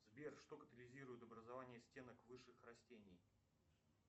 сбер что катализирует образование стенок высших растений